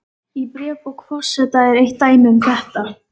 Í bréfabók forseta er eitt dæmi um þetta.